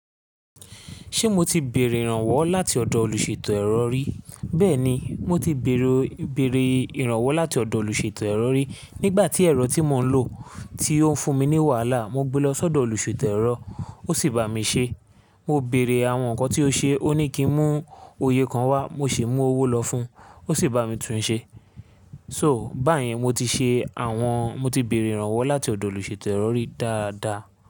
Ṣé mo ti béèrè ìrànwọ́ láti ọ̀dọ̀ olùṣètò ẹ̀rọ rí? Bẹ́ẹ̀ni, mo ti béèrè, béèrè ìrànwọ́ láti ọ̀dọ̀ olùṣètò ẹ̀rọ rí. Nígbà tí ẹ̀rọ tí mò ń lò tí ó ń fún mi ní wàhálà, mo gbe lọ sọ́dọ̀ olùṣètò ẹ̀rọ, ó sì bá mi ṣe. Mo béèrè àwọn nǹkan tí ó ṣe, ó ní kí ń mú òye kan wá, mo sì mú owó lọ fún un, ó sì bá mi tún un ṣe. So, báyìí mo ti ṣe àwọn, mo ti béèrè ìrànwọ́ láti ọ̀dọ̀ olùṣètò ẹ̀rọ rí dáadáa.